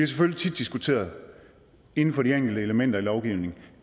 selvfølgelig tit diskuteret inden for de enkelte elementer i lovgivningen